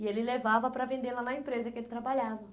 E ele levava para vender lá na empresa que ele trabalhava.